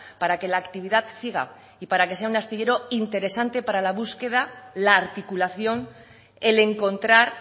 para que la actividad siga y para que sea un astillero interesante para la búsqueda la articulación el encontrar